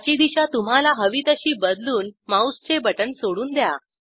त्याची दिशा तुम्हाला हवी तशी बदलून माऊसचे बटण सोडून द्या